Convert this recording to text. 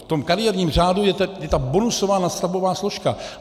V tom kariérním řádu je ta bonusová nadstavbová složka.